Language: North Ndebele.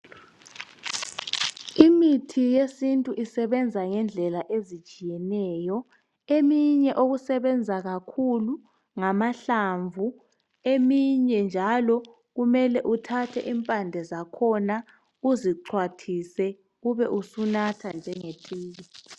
Imithi yesintu isebenza ngendlela ezitshiyeneyo. Eminye okusebenza kakhulu ngamahlamvu, eminye njalo kumele uthathe impande zakhona uzixhwathise ube usunatha njengetiye.